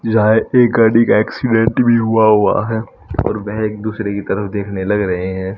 जहा एक गाड़ी का एक्सीडेंट भी होआ हुआ है वह एक दूसरे की तरफ देखने लग रहे है।